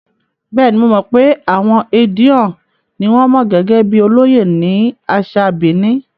Bẹ́ẹ̀ni, mo mọ̀ pé àwọn Edion ni wọn mọ̀ gẹ́gẹ́ bíi olóyè ní àṣà Benin.